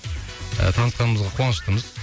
ыыы танысқанымызға қуаныштымыз